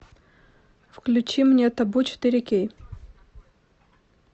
включи мне табу четыре кей